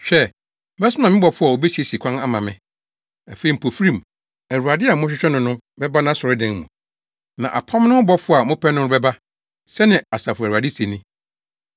Hwɛ! Mɛsoma me bɔfo a obesiesie kwan ama me. Afei mpofirim, Awurade a morehwehwɛ no no bɛba nʼasɔredan mu. Na apam no ho bɔfo a mopɛ no no bɛba, sɛnea Asafo Awurade se ni.